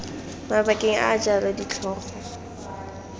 mabakeng a a jalo ditlhogo